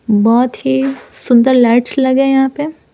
बहुत ही सुंदर लाइट्स लगे यहां पे।